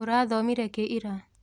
ũrathomire kĩ ira?